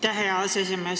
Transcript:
Aitäh, hea aseesimees!